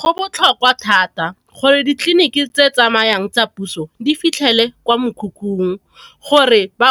Go botlhokwa thata gore ditleliniki tse tsamayang tsa puso di fitlhele kwa mekhukhung, gore ba